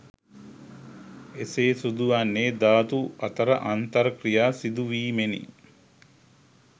එසේ සිදුවන්නේ ධාතු අතර අන්තර් ක්‍රියා සිදුවීමෙනි